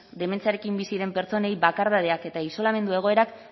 dementziarekin bizi diren pertsonei bakardadeak eta isolamendu egoerak